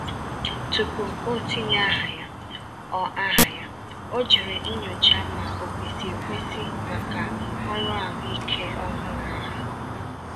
Tupu o tinye aha ya, ọ aha ya, ọ jèrè nyochaa ma ò kwesị ekwesi maka ọrụ ahụike ọhụrụ ahụ.